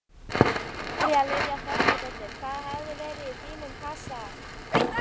María Lilja Þrastardóttir: Hvað hefði verið í þínum kassa?